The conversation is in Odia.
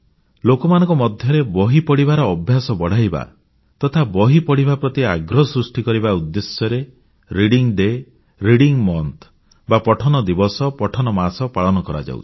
ଲୋକମାନଙ୍କ ମଧ୍ୟରେ ବହି ପଢ଼ିବାର ଅଭ୍ୟାସ ବଢ଼ାଇବା ତଥା ବହି ପଢ଼ିବା ପ୍ରତି ଆଗ୍ରହ ସୃଷ୍ଟି କରିବା ଉଦ୍ଦେଶ୍ୟରେ reading day reading month celebration ପଠନ ଦିବସ ପଠନ ମାସ ପାଳନ କରାଯାଉଛି